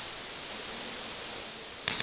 mense met gestremdhede